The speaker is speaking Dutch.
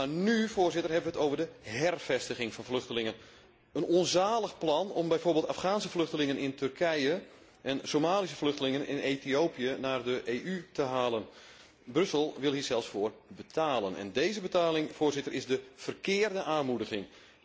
Maar nu, Voorzitter, hebben we het over de hervestiging van vluchtelingen. Een onzalig plan om bijvoorbeeld Afghaanse vluchtelingen in Turkije en Somalische vluchtelingen in Ethiopië naar de EU te halen. Brussel wil hier zelfs voor betalen, en deze betaling, Voorzitter, is de verkeerde aanmoediging.